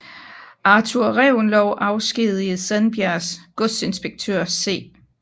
Arthur Reventlow afskedigede Sandbjergs godsinspektør C